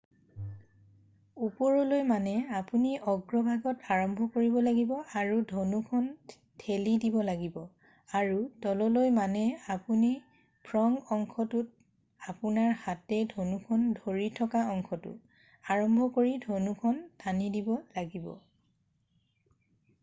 ওপৰলৈ মানে আপুনি অগ্ৰভাগত আৰম্ভ কৰিব লাগিব আৰু ধনুখন ঠেলি দিব লাগিব আৰু তললৈ মানে আপুনি ফ্ৰগ অংশটোত আপোনাৰ হাতে ধনুখন ধৰি থকা অংশটো আৰম্ভ কৰি ধনুখন টানি দিব লাগিব।